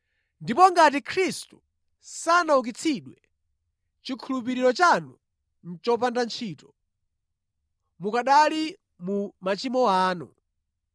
Ndipo ngati Khristu sanaukitsidwe, chikhulupiriro chanu nʼchopanda ntchito; mukanali mu machimo anu.